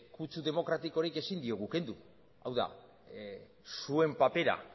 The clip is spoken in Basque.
kutsu demokratikorik ezin diogu kendu hau da zuen papera